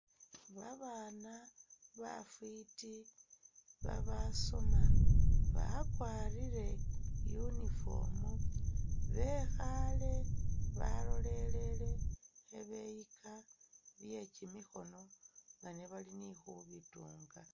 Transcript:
Ba bana bafiti ba basoma bakwarire uniform bekhale balolelele khe beyika byekyimikhono nga nebali ni khubitunga.